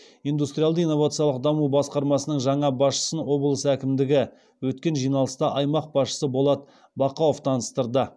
индустриалды инновациялық даму басқармасының жаңа басшысын облыс әкімдігінде өткен жиналыста аймақ басшысы болат бақауов таныстырды